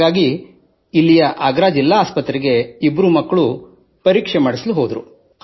ಹಾಗಾಗಿ ಇಲ್ಲಿಯ ಆಗ್ರಾ ಜಿಲ್ಲಾ ಆಸ್ಪತ್ರೆಗೆ ಇಬ್ಬರೂ ಮಕ್ಕಳು ಪರೀಕ್ಷೆ ಮಾಡಿಸಲು ಹೋದರು